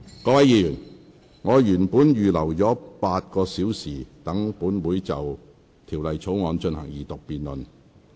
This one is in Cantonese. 各位議員，我原本預留了8個小時，讓本會就《條例草案》進行二讀辯論。